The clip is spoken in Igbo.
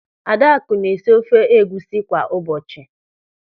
Adakụ na-esi ofe egwusi kwa ụbọchị.